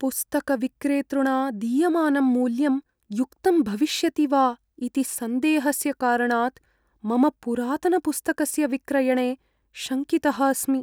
पुस्तकविक्रेतृणा दीयमानं मूल्यं युक्तं भविष्यति वा इति सन्देहस्य कारणात् मम पुरातनपुस्तकस्य विक्रयणे शङ्कितः अस्मि।